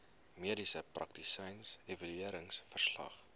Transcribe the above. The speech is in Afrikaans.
mediese praktisyn evalueringsverslag